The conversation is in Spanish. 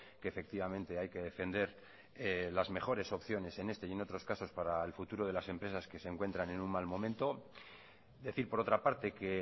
que efectivamente hay que defender las mejores opciones en este y en otros casos para el futuro de las empresas que se encuentran en un mal momento decir por otra parte que